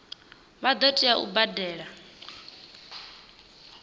vha ḓo tea u badela